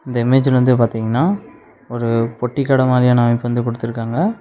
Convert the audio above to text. இந்த இமேஜ்ல வந்து பாத்தீங்கன்னா ஒரு பொட்டி கட மாரியான அமைப்பு வந்து குடுத்துருக்காங்க.